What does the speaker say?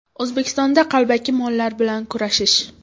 O‘zbekistonda qalbaki mollar bilan kurashish!.